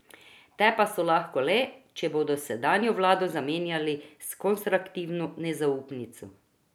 Te pa so lahko le, če bodo sedanjo vlado zamenjali s konstruktivno nezaupnico.